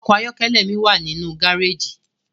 Ọkọ ayọkẹlẹ mi wa ninu gareji